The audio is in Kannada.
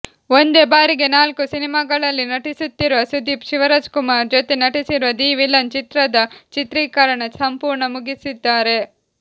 ಒಂದೇ ಬಾರಿಗೆ ನಾಲ್ಕು ಸಿನಿಮಾಗಳಲ್ಲಿ ನಟಿಸುತ್ತಿರುವ ಸುದೀಪ್ ಶಿವರಾಜಕುಮಾರ್ ಜೊತೆ ನಟಿಸಿರುವ ದಿ ವಿಲನ್ ಚಿತ್ರದ ಚಿತ್ರೀಕರಣ ಸಂಪೂರ್ಣ ಮುಗಿಸಿದ್ದಾರೆ